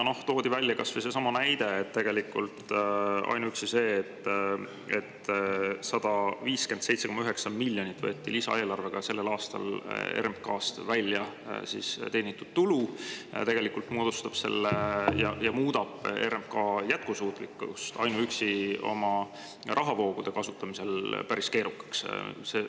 Toodi välja kas või seesama näide, et ainuüksi see, et 157,9 miljonit eurot võeti lisaeelarvega sellel aastal RMK-st välja teenitud tulu, tegelikult muudab RMK jätkusuutlikkuse oma rahavoogude kasutamisel päris keerukaks.